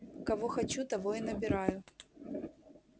кого хочу того и набираю